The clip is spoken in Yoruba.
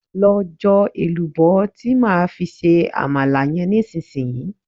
Lọ jọ èlùbọ́ tí máa fi ṣe Àmàlà yẹn nísinsìnyí!